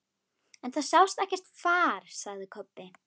En það sást ekkert far, sagði Kobbi.